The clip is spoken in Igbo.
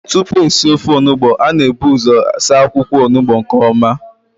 Tupu esi ofe Onugbu, a na-ebu ụzọ saa akwụkwọ Onugbu nke ọma